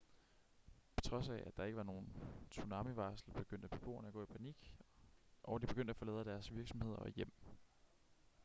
på trods af at der ikke var nogen tsunamivarsel begyndte beboerne at gå i panik og de begyndte at forlade deres virksomheder og hjem